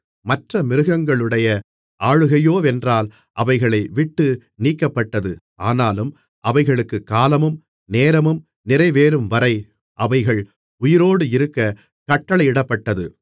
மற்ற மிருகங்களுடைய ஆளுகையோவென்றால் அவைகளை விட்டு நீக்கப்பட்டது ஆனாலும் அவைகளுக்குக் காலமும் நேரமும் நிறைவேறும்வரை அவைகள் உயிரோடு இருக்கக் கட்டளையிடப்பட்டது